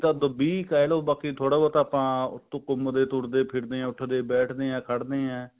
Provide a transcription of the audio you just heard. ਅੱਧ ਵੀਹ ਕਿਹਲੋ bake ਥੋੜਾ ਬਹੁਤ ਆਪਾਂ ਤੁਰਦੇ ਫਿਰਦੇ ਹਾਂ ਉੱਠਦੇ ਬੈਠਦੇ ਹਾਂ ਖੜਦੇ ਹਾਂ